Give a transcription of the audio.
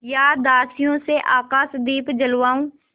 या दासियों से आकाशदीप जलवाऊँ